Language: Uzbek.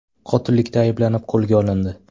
qotillikda ayblanib qo‘lga olindi.